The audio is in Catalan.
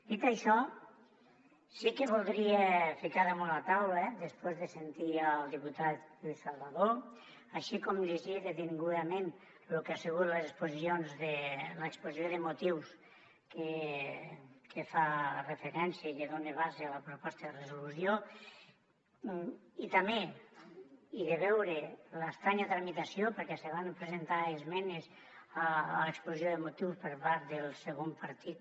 dit això sí que voldria ficar damunt la taula després de sentir el diputat lluís salvadó així com de llegir detingudament lo que ha sigut l’exposició de motius que fa referència i que dona base a la proposta de resolució i també de veure l’estranya tramitació perquè se van presentar esmenes a l’exposició de motius per part del segon partit